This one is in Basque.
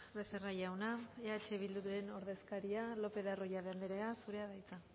becerra jauna eh bilduren ordezkaria lopez de arroyabe andrea zurea da hitza